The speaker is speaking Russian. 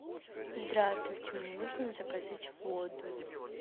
здравствуйте мне нужно заказать воду